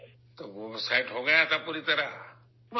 تو وہ سیٹ ہو گیا تھا پوری طرح ؟